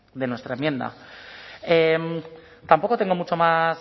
de nuestra enmienda tampoco tengo mucho más